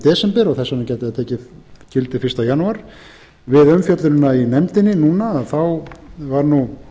desember og þess vegna gæti það tekið gildi fyrsta janúar við umfjöllunina í nefndinni núna þá var nú